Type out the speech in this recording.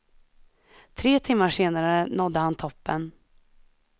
Tre timmar senare nådde han toppen.